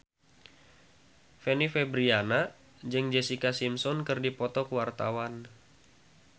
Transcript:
Fanny Fabriana jeung Jessica Simpson keur dipoto ku wartawan